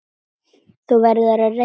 Það hefði bætt þetta mikið.